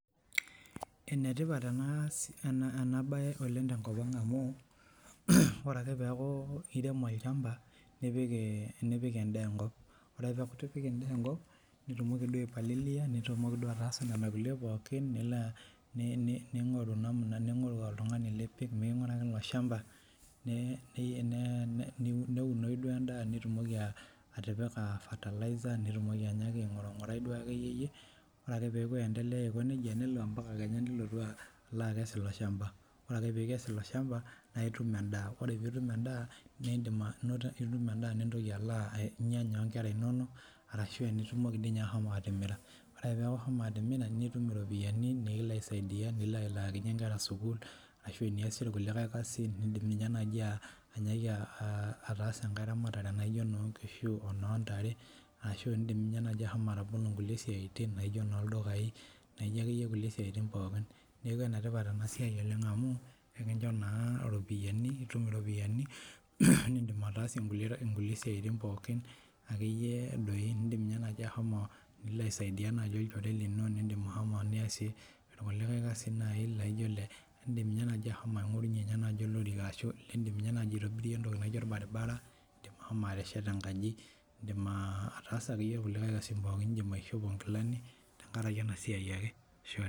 Ene tipat ena bae oleng' tenkop ang' amuu ore ake peeku itaremo olchampa nipik endaa enkop ore akee peeku itipika endaa enkop nitumoki duoo ai palilia nitumoki duoo ataasa nena kulie pookin nilo ning'oru namuna ning'oru oltung'ani lipik miking'uraki ilo shampa neunoi duoo endaa nitumoki atipika fertilizer nitumoki ainyaaki aing'urung'urai duo akeyiyie ore ake peeku aientelea aiko nejia nelo ampaka kenya nilotu aloo akes ilo shampa ore akee piikes ilo shampa naa itum endaa ore piitum endaa naa indim anoto itum endaa nintoki alo ainyanya oonkera inonok arashuu aa enitumoki duo ninye ashomo atimira oree ake peeku ishomo atimira nitum irropiyiani nikilo aisaidia nilo alaakinyie inkera sukuul ashuu aa eniyasie irkulikae kasin iindim inye naaji ainyaaki aatasa enkae ramatare naijo ina oo nkishu ina oo ntare ashuu iindim inye naaji ashomo atobolo inkulie siaitin najo inoo ldukayii najo ake iye kulie siaitin pookin neeku enetipat ena siai oleng' amuu ekinchoo naa iropiyiani nitum iropiyiani niindim ataasie inkulie siaitin pookin ake iye doi indim inye naaji ashomo nilo aisaidia najii hoteli ino iindim ashomo niyasie irkulikae kasain naai naijo ile iindim inye naaji ashomo aing'orunyie oloriki ashuu iindim inye naaji ashomo aitobirie entoki naijo orbaribara iindim ashomo atesheta enkaji iindim ataasa ake iye irkulikae kasin pookin iindim aishopo inkilani tenkaraki ena siai ake.